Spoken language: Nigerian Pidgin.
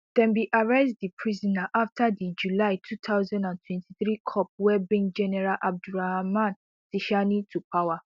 dem bin arrest di prisoner afta di july two thousand and twenty-three cop wey bring general abdourahamane tchiani to power